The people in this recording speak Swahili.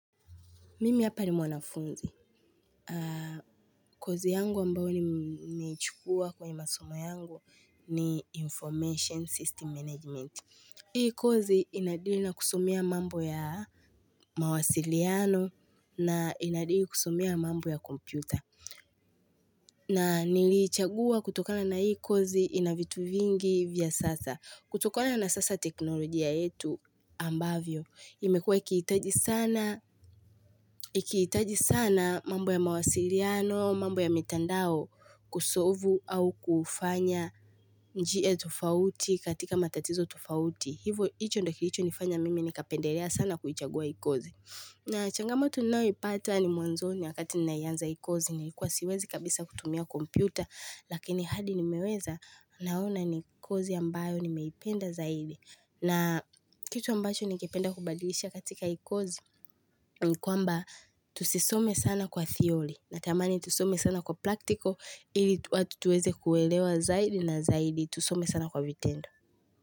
Mimi hapa ni mwanafunzi. Kozi yangu ambao nimeichukua kwenye masomo yangu ni information System management. Hii kozi inadili na kusomea mambo ya mawasiliano na inadili kusomea mambo ya kompyuta. Na niliichagua kutokana na hii kozi inavitu vingi vya sasa. Kutokona na sasa teknolojia yetu ambavyo, imekuwe ikihitaji sana mambo ya mawasiliano, mambo ya mitandao kusolvu au kufanya njia tofauti katika matatizo tofauti. Hivo, icho ndio kilicho nifanya mimi nikapendelea sana kuichagua hii kozi. Na changamoto ninao ipata ni mwanzoni wakati ninaianza hii kozi nilikuwa siwezi kabisa kutumia kompyuta lakini hadi nimeweza naona ni kozi ambayo nimeipenda zaidi. Na kitu ambacho ningependa kubadilisha katika hii kozi ni kwamba tusisome sana kwa theory. Na tamani tusome sana kwa practical ili watu tuweze kuwelewa zaidi na zaidi tusome sana kwa vitendo.